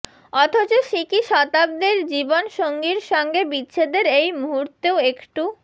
অথচ সিকি শতাব্দীর জীবনসঙ্গীর সঙ্গে বিচ্ছেদের এই মুহূর্তেও একটু